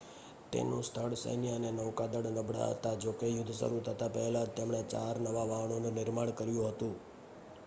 તેનું સ્થળ સૈન્ય અને નૌકાદળ નબળાં હતાં જોકે યુદ્ધ શરૂ થતા પહેલાં જ તેમણે ચાર નવા વહાણનું નિર્માણ કર્યું હતું